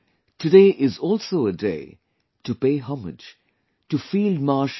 Today is also a day to pay homage to Field Marshal K